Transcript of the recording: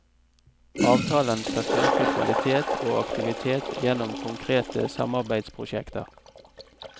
Avtalen skal styrke kvalitet og aktivitet gjennom konkrete samarbeidsprosjekter.